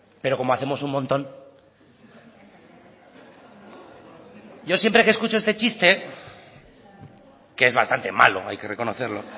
pero como hacemos un montón yo siempre que escucho este chiste que es bastante malo hay que reconocerlo